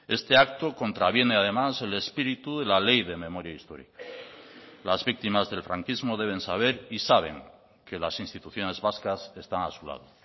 este acto contraviene además el espíritu de la ley de memoria histórica las víctimas del franquismo deben saber y saben que las instituciones vascas están a su lado